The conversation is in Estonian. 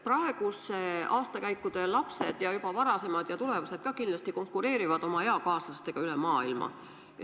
Praeguste aastakäikude lapsed, aga ka varasemad ja kindlasti tulevased, konkureerivad oma eakaaslastega üle maailma.